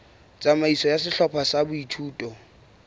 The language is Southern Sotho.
tsamaiso ya sehlopha sa boithuto